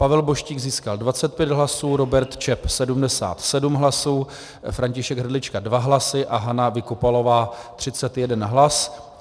Pavel Boštík získal 25 hlasů, Robert Čep 77 hlasů, František Hrdlička 2 hlasy a Hana Vykopalová 31 hlasů.